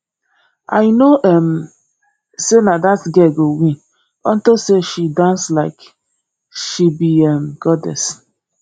i know um say na dat girl go win unto say she dance like she be um goddess